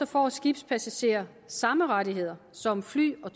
får skibspassagerer samme rettigheder som fly og